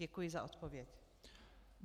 Děkuji za odpověď.